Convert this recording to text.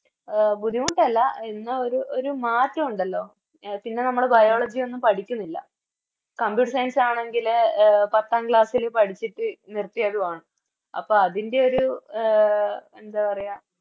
A ബുദ്ധിമുട്ടല്ല എന്നാ ഒരു ഒരു മറ്റോ ഉണ്ടല്ലോ എ പിന്നെ നമ്മള് Biology ഒന്നും പഠിക്കുന്നില്ല Computer science ആണെങ്കില് പത്താം Class ല് പഠിച്ചിട്ട് നിർത്തിയതുവാണ് അപ്പൊ അതിൻറെയൊരു എ എന്താ പറയാ